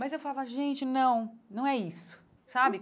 Mas eu falava, gente, não, não é isso, sabe?